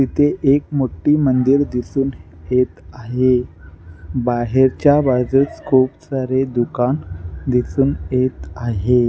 इथे एक मोठी मंदिर दिसून येत आहे. बाहेरच्या बाजूस दुकान दिसून येत आहे.